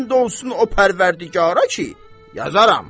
And olsun o pərvərdigara ki, yazaram!